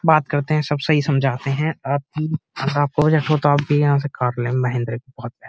बात करते हैं सब सही समझाते हैं और --